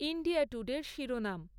India টুডের শিরোনাম